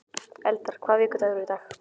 Eldar, hvaða vikudagur er í dag?